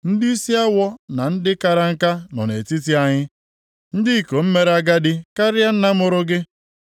Ndịisi awọ na ndị kara nka nọ nʼetiti anyị, ndị ikom mere agadi karịa nna mụrụ gị.